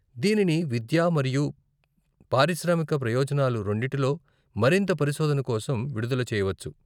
దీనిని విద్యా మరియు పారిశ్రామిక ప్రయోజనాలు రెండిటిలో మరింత పరిశోధన కోసం విడుదల చేయవచ్చు.